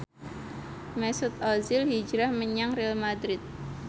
Mesut Ozil hijrah menyang Real madrid